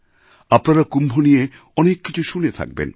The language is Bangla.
আপনারা কুম্ভ নিয়ে অনেক কিছু শুনে থাকবেন